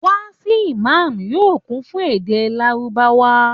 Wáàsì Ìmam yóò kún fún èdè lárúbáwá